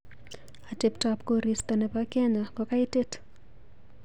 Ateptap korista nebo Kenya kokaitit.